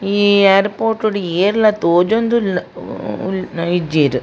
ಈ ಯಾರ್ಪೋರ್ಟ್ ಡು ಏರ್ಲ ತೋಂಜೊಂದು ಉಲ್ಲ ಹ್ಮ್ ಉಲ್ಲ್ ಇಜ್ಜೆರ್.